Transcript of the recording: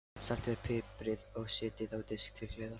Saltið og piprið og setjið á disk til hliðar.